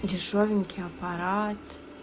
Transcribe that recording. дешёвенький аппарат